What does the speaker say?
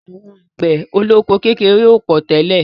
Àwọn àgbẹ̀ olóko kékeré ò pọ̀ tẹ́lẹ̀.